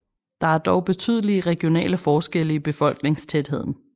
Der er dog betydelige regionale forskelle i befolkningstætheden